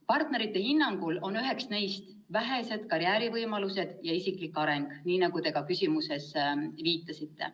Partnerite hinnangul on üks probleem vähesed karjäärivõimalused ja isiklik areng, nii nagu te ka küsimuses viitasite.